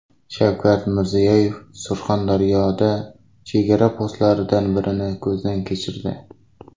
Shavkat Mirziyoyev Surxondaryoda chegara postlaridan birini ko‘zdan kechirdi.